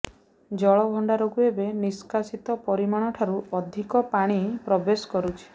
ଜଳଭଣ୍ଡାରକୁ ଏବେ ନିଷ୍କାସିତ ପରିମାଣଠାରୁ ଅଧିକ ପାଣି ପ୍ରବେଶ କରୁଛି